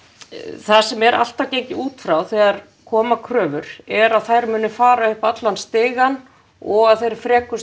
það sem er alltaf gengið út frá þegar koma kröfur er að þær muni fara upp allan stigann og að þeir